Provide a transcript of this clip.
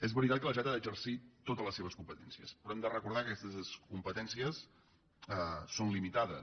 és veritat que la generalitat ha d’exercir totes les seves competències però hem de recordar que aquestes competències són limitades